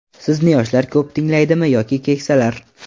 Sizni yoshlar ko‘p tinglaydimi yoki keksalar?